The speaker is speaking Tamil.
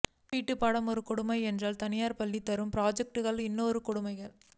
வீட்டுப் பாடம் ஒரு கொடுமை என்றால் தனியார் பள்ளிகள் தரும் ப்ராஜெக்ட்கள் இன்னொரு கொடுமை